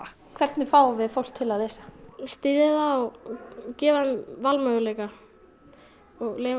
hvernig fáum við fólk til að lesa styðja það og gefa þeim valmöguleika og leyfa